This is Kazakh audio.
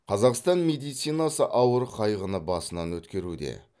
қазақстан медицинасы ауыр қайғыны басынан өткеруде